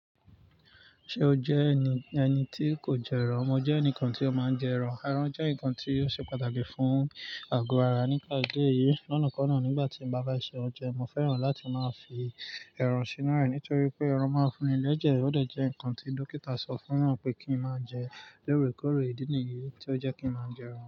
Ṣé o jẹ́ ẹni, ẹni tí kò jẹ ẹran? Mo jẹ́ ẹnìkan tí ó máa ń jẹ ẹran. Eran jẹ́ nǹkan tí ó ṣe pàtàkì fún àgọ́ ara nípa idi eyìí. Lánàá kán náà nígbà tí mo bá bá ṣe oúnjẹ, mo fẹ́ràn láti máa fi ẹran sínú rẹ̀ nítorí pé ẹran máa ń fún ni lẹ́jẹ̀. Ó dẹ̀ jẹ́ nǹkan tí dọ́kítà sọ fún wa pé kí n máa jẹ. Lóre kóre ìdí nìyí tí ó jẹ́ kí n máa jẹ ẹran.